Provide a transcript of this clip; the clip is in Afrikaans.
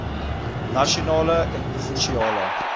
nasionale en provinsiale